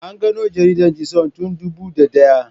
An gano jaridar Th Sun tun dubu da daya.